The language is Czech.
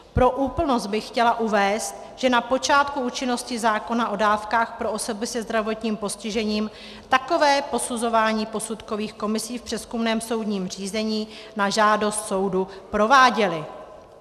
Pro úplnost bych chtěla uvést, že na počátku účinnosti zákona o dávkách pro osoby se zdravotním postižením takové posuzování posudkové komise v přezkumném soudním řízení na žádost soudu prováděly.